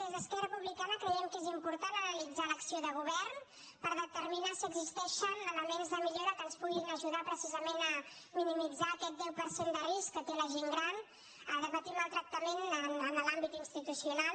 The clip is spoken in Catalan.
des d’esquerra republicana creiem que és important analitzar l’acció de govern per determinar si existeixen elements de millora que ens puguin ajudar precisament a minimitzar aquest deu per cent de risc que té la gent gran de patir maltractament en l’àmbit institucional